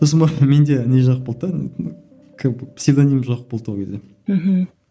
сосын барып менде не жоқ болды да как бы псевдоним жоқ болды ол кезде мхм